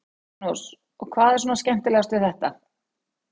Magnús: Og hvað er svona skemmtilegast við þetta?